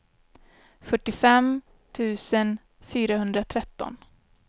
fyrtiofem tusen fyrahundratretton